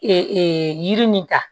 Ee yiri nin ta